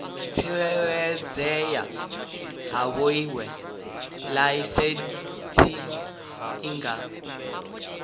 tsireledzea havhoiyi laisentsi i nga